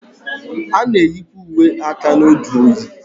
A na-eyikwa uwe aka n'oge oyi.